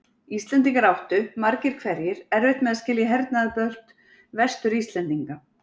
Íslendingar áttu, margir hverjir, erfitt með að skilja hernaðarbrölt Vestur-Íslendinga.